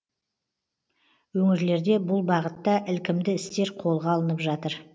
өңірлерде бұл бағытта ілкімді істер қолға алынып жатыр